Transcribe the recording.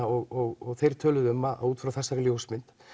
og þeir töluðu um að út frá þessari ljósmynd